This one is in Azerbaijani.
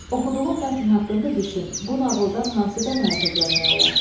Oxuduğun mətn haqqında düşün, bu nağıldan hansı qənaətə gəlmək olar?